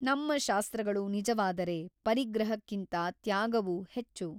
ನಮ್ಮ ಶಾಸ್ತ್ರಗಳು ನಿಜವಾದರೆ ಪರಿಗ್ರಹಕ್ಕಿಂತ ತ್ಯಾಗವು ಹೆಚ್ಚು.